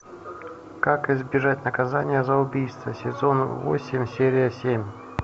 как избежать наказания за убийство сезон восемь серия семь